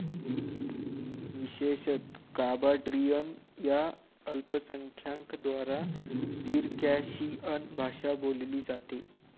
विशेषतः, काबार्डिअन या अल्पसंख्यांकद्वारा सिरकॅशिअन भाषा बोलली जाते.